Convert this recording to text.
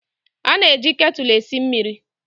A na-eji ketụlụ esi mmịrị.